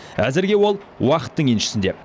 әзірге ол уақыттың еншісінде